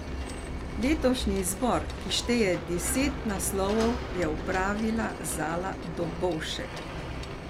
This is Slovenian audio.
Letošnji izbor, ki šteje deset naslovov, je opravila Zala Dobovšek.